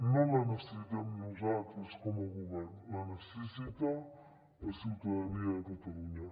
no la necessitem nosaltres com a govern la necessita la ciutadania de catalunya